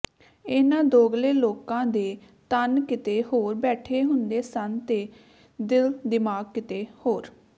ਇਹਨਾਂ ਦੋਗਲੇ ਲੋਕਾਂ ਦੇ ਤਨ ਕਿਤੇ ਹੋਰ ਬੈਠੇ ਹੁੰਦੇ ਸਨ ਤੇ ਦਿਲ ਦਿਮਾਗ ਕਿਤੇ ਹੋਰ